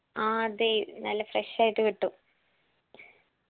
ആ അതെ നല്ല fresh ആയിട്ട് കിട്ടും